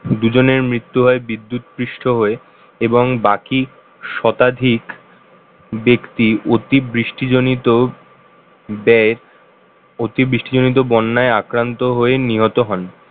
দুজনের মৃত্যু হয় বিদ্যুৎপৃষ্ট হয়ে এবং বাকি শতাধিক ব্যক্তি অতিবৃষ্টি জনিত ব্যয় অতিষ্ঠ জনিত বন্যায় আক্রান্ত হয়ে নিহত হন।